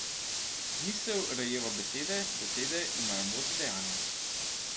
Misel rojeva besede, besede imajo moč dejanja.